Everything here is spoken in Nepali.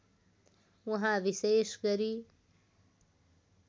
उहाँ विशेष गरी